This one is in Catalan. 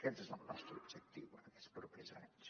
aquest és el nostre objectiu en aquests propers anys